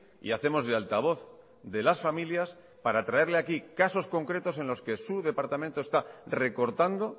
y hacemos de altavoz de las familias para traerle aquí casos concretos en los que su departamento está recortando